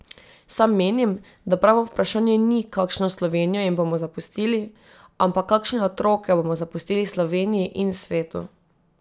Sam menim, da pravo vprašanje ni, kakšno Slovenijo jim bomo zapustili, ampak kakšne otroke bomo zapustili Sloveniji in svetu.